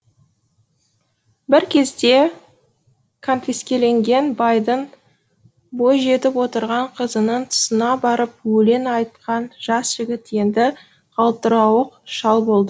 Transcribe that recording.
бір кезде конфискеленген байдың бой жетіп отырған қызының тұсына барып өлең айтқан жас жігіт енді қалтырауық шал болды